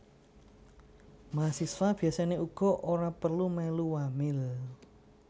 Mahasiswa biasané uga ora perlu mèlu wamil